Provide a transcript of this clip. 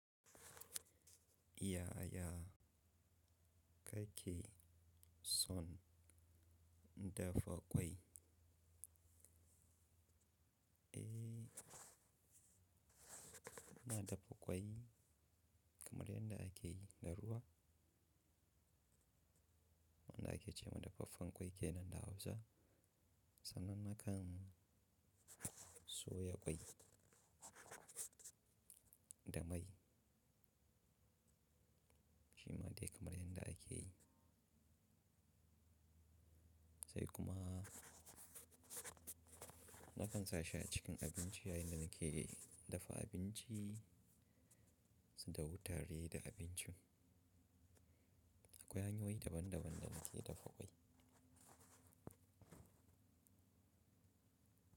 Yaya kake son dafa ƙwai? Eh, na dafa ƙwai kamar yadda ake yi da ruwa, wanda ake ce ma dafaffen ƙwai kenan na Hausa, sannan nakan soya ƙwai da mai shima dai kamar yadda ake yi. Sai kuma nakan sa shi a cikin abinci yayin da nake dafa abinci su dahu tare da abincin. Akwai hanyoyi daban-daban don ake dafa ƙwai.